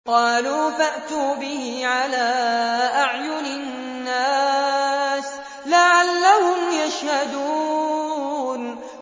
قَالُوا فَأْتُوا بِهِ عَلَىٰ أَعْيُنِ النَّاسِ لَعَلَّهُمْ يَشْهَدُونَ